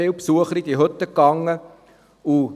Viele Besucher haben diese Hütten aufgesucht.